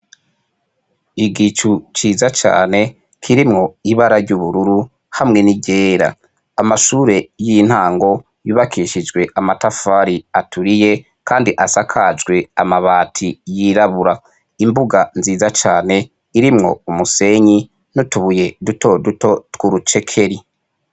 Igicu ciza cane kirimwo ibara ry'ubururu hamwe n'iryera ,Amashuri y'intango yubakishijwe amatafari aturiye kandi asakajwe amabati yirabura, Imbuga nziza cane irimwo umusenyi n'utubuye dutoduto twudu cekeri.